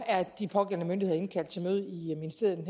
er de pågældende myndigheder indkaldt til møde i ministeriet i